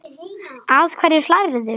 Að hverju hlærðu?